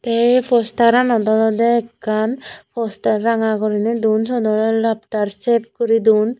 ey postaranot olode ekkan postar ranga guriney duon suot olode laftar chef guri duon.